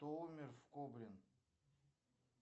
кто умер в кобре